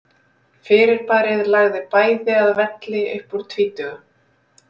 Fyrirbærið lagði bæði að velli upp úr tvítugu.